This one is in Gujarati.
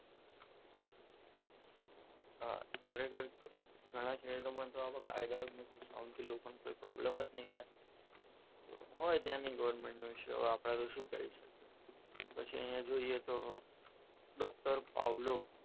ખરેખર ઘણા શહેરોમાં તો આવા કોઈ કાયદાઓ જ નથી કે સાઉન્ડથી લોકોને કોઈ પ્રોબ્લેમ જ નહીં થાય તો હોય તેની ગવર્મેન્ટ નો આપણે તો શું કહી શકીએ પછી અહીંયા જોઈએ તો ડોક્ટર પાઉલો,